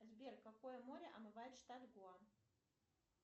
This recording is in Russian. сбер какое море омывает штат гоа